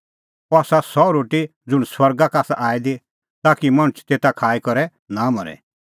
अह आसा सह रोटी ज़ुंण स्वर्गा का आसा आई दी ताकि मणछ तेता का खाई करै नां मरे